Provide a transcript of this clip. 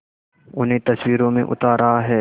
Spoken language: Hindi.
उन्हें तस्वीरों में उतार रहा है